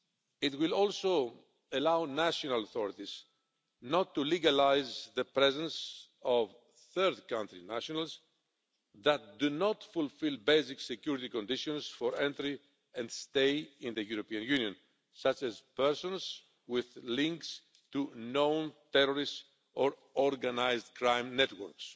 It will also allow national authorities not to legalise the presence of third country nationals who do not fulfil basic security conditions for entry and stay in the European Union, such as persons with links to known terrorists or organised crime networks.